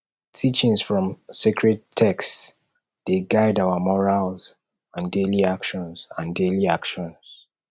teachings from sacred texts dey guide our morals and daily actions and daily actions